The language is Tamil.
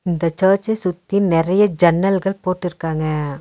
இந்த சர்ச்ச சுத்தி நெறைய ஜன்னல்கள் போட்டிருக்காங்க.